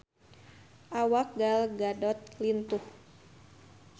Awak Gal Gadot lintuh